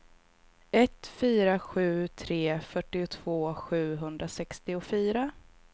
ett fyra sju tre fyrtiotvå sjuhundrasextiofyra